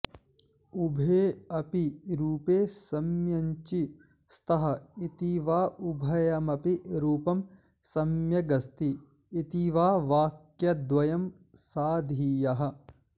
उभे अपि रूपे सम्यञ्ची स्तः इति वा उभयमपि रूपं सम्यग् अस्ति इति वा वाक्यद्वयं साधीय़ः